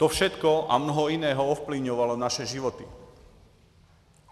To všechno a mnoho jiného ovlivňovalo naše životy.